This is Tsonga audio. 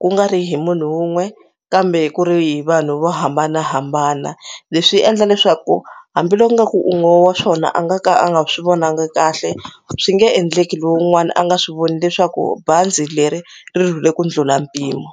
ku nga ri hi munhu wun'we kambe ku ri hi vanhu vo hambanahambana leswi endla leswaku hambiloko nga ku un'we wa swona a nga ka a nga swi vonangi kahle swi nge endleki lowun'wana a nga swi voni leswaku bazi leri ri rhulile ku ndlhula mpimo.